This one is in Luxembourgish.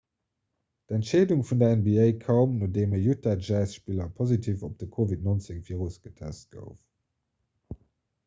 d'entscheedung vun der nba koum nodeem e 'utah jazz'-spiller positiv op de covid-19-virus getest gouf